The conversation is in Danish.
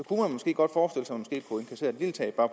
godt